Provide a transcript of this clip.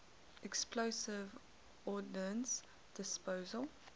explosive ordnance disposal